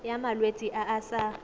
ya malwetse a a sa